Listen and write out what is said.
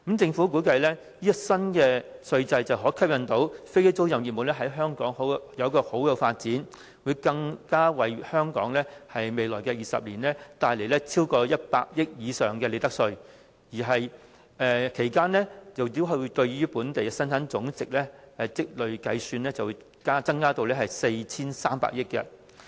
政府估計這項新稅制可吸引飛機租賃業務在香港有良好的發展，更會為香港未來20年帶來超過100億元以上的利得稅，其間計算對於本地的累積增加生產總值逾 4,300 億元。